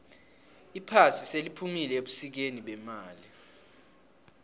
iphasi seliphumile ebusikeni bemali